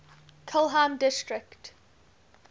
kelheim district